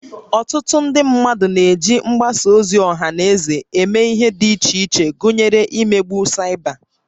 Ọtụtụ ndị mmadụ na-eji mgbasa ozi ọha na eze eme ihe dị iche iche gụnyere imegbu Cyber